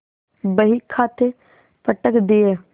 बहीखाते पटक दिये